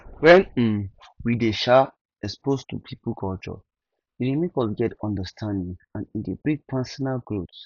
when um we dey um exposed to pipo culture e dey make us get understanding and e dey bring personal growth